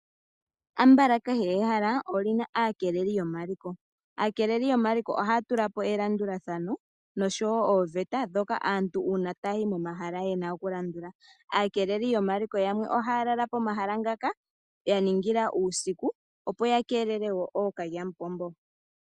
Ambala kehe ehala olyina aakeleli yomaliko. Aakeleli yomaliko ohaya tula po elandulathano noshowo ooveta ndhoka aantu uuna taya yi momahala yena oku landula. Aakeleli yamwe ohaya lala pomahala ngaka ya ningila uusikuu opo ya kelele ookalyamupombo.